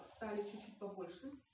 оставить чуть побольше